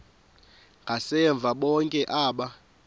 ngasemva bonke aba